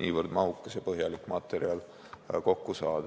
niivõrd mahukas ja põhjalik materjal kokku saada.